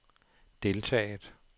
deltaget